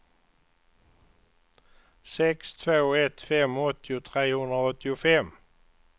sex två ett fem åttio trehundraåttiofem